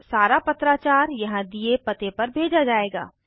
सारा पत्राचार यहाँ दिए पते पर भेजा जायेगा